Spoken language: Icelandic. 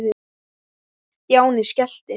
Stjáni skellti